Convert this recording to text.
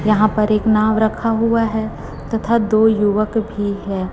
यहां पर एक नाव रखा हुआ है तथा दो युवक भी है।